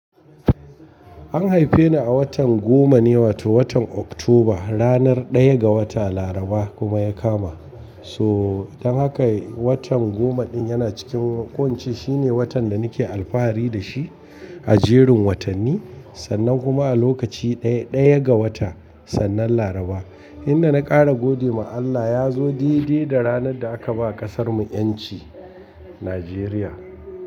An haife ni a watan goma ne, wato watan Oktoba, ranar ɗaya ga wata, Laraba kuma ya kama. To dan haka watan goma din yana cikin ko ince Shine watan da nake alfahari da shi a jerin watanni, sannan kuma a lokaci ɗaya, ɗaya ga wata, sannan Laraba. Inda na ƙara gode ma Allah ya zo daidai da ranar da aka ba ƙasarmu ƴanci, Nijeriya.